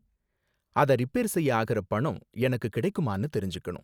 அத ரிப்பேர் செய்ய ஆகுற பணம் எனக்கு கிடைக்குமானு தெரிஞ்சுக்கணும்.